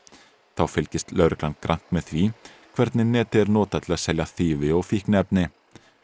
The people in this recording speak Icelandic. þá fylgist lögreglan grannt með því hvernig netið er notað til að selja þýfi og fíkniefni